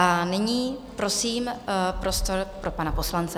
A nyní prosím, prostor pro pana poslance.